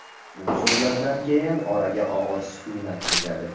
Bu so‘zlardan keyin oraga og‘ir sukunat cho‘kadi.